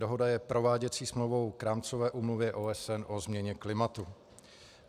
Dohoda je prováděcí smlouvou k Rámcové úmluvě OSN o změně klimatu.